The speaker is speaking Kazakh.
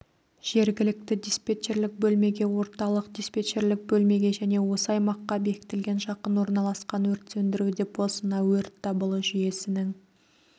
жергілікті диспетчерлік бөлмеге орталық диспетчерлік бөлмеге және осы аймаққа бекітілген жақын орналасқан өрт сөндіру депосына өрт дабылы жүйесінің